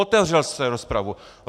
Otevřel jste rozpravu.